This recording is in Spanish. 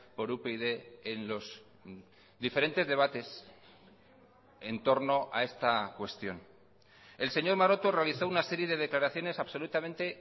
por upyd en los diferentes debates en torno a esta cuestión el señor maroto realizó una serie de declaraciones absolutamente